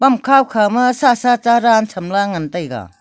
amkhao khao ma sah sa cha dan chem lah ngan taega.